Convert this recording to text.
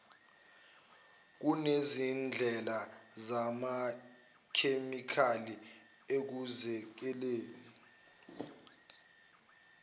kunezindlela zamachemikheli ekuzikeleni